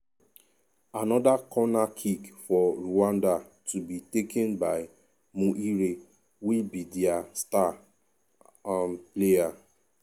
anoda corner kick for rwanda to be taken by muhire wey be dia star um player.